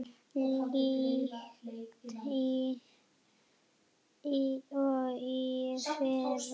líkt og í fyrra.